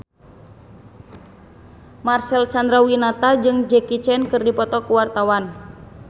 Marcel Chandrawinata jeung Jackie Chan keur dipoto ku wartawan